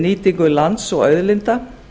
nýtingu lands og auðlinda